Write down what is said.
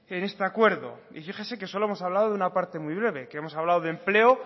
en este acuerdo y fíjese que solo hemos hablado de una parte muy breve que hemos hablado de empleo